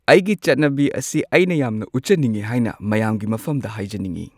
ꯑꯩꯒꯤ ꯆꯠꯅꯕꯤ ꯑꯁꯤ ꯑꯩꯅ ꯌꯥꯝꯅ ꯎꯠꯆꯅꯤꯡꯉꯤ ꯍꯥꯏꯅ ꯃꯌꯥꯝꯒꯤ ꯃꯐꯝꯗ ꯍꯥꯏꯖꯅꯤꯡꯉꯤ꯫